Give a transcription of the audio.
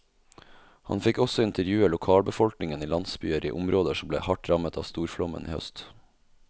Han fikk også intervjue lokalbefolkningen i landsbyer i områder som ble hardt rammet av storflommen i høst.